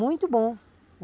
Muito bom.